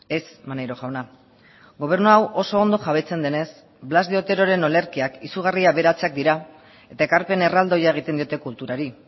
ez maneiro jauna gobernu hau oso ondo jabetzen denez blas de oteroren olerkiak izugarri aberatsak dira eta ekarpen erraldoia egiten diote kulturari